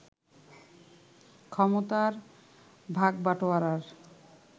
ক্ষমতার ভাগবাটোয়ারার